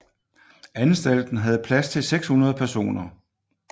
Anstalten havde plads til 600 personer